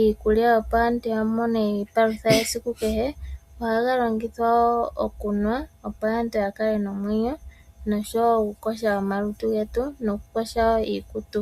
iikulya, opo aantu ya mone iipakutha yesiku kehe. Ohaga longithwa wo okunwa, opo aantu ya kale ye na omwenyo . Nosho wo okukosha omalutu getu nokukosha wo iikutu.